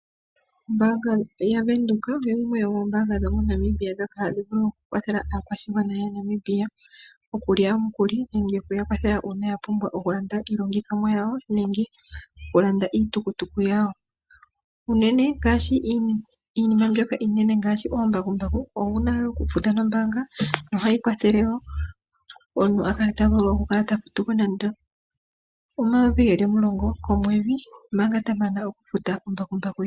Ombaanga ya Bank Windhoek oyo yimwe yomombaanga ndhoka hadhi vulu oku kwathele aakwashigwana ya Namibia okulya omukuli nenge okuya kwathela uuna ya pumbwa oku landa iilongithomwa yawo nenge oku landa iitukutuku yawo uunene ngaashi iinima mbyoka iinene ngaashi oombakumbaku, owuna wo okufuta nombaanga nohayi kwathele wo omuntu a vule okukala ta futo ko nando omayovi geli omulongi komwedhi, omanga ta mana oku futa ombakumbaku ye.